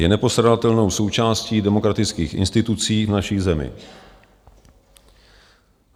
Je nepostradatelnou součástí demokratických institucí v naší zemi.